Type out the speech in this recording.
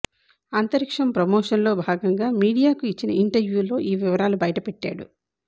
అంతరిక్షం ప్రమోషన్ లో భాగంగా మీడియాకు ఇచ్చిన ఇంటర్వ్యూల్లో ఈ వివరాలు బయటపెట్టాడు